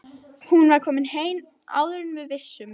Hún var komin heim áður en við vissum.